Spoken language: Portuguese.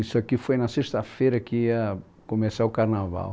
Isso aqui foi na sexta-feira que ia começar o carnaval.